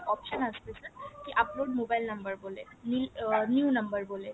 option আসবে যে upload mobile number বলে নীল new number বলে